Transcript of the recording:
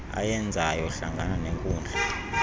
ayenzayo hlangana nenkundla